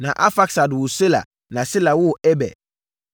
Na Arfaksad woo Sela na Sela woo Eber.